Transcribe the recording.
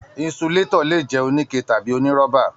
Insulatọ le jẹ onike tàbí onirọ́ba.